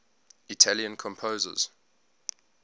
italian composers